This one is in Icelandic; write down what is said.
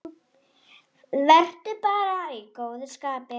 Vertu bara í góðu skapi.